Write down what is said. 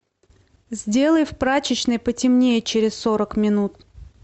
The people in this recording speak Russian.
сделай в прачечной потемнее через сорок минут